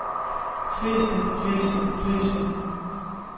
fleste fleste fleste